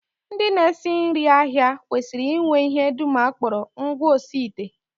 Ndị na-esi nri ahịa kwesịrị inwe ihe dum a kpọrọ ngwaosiite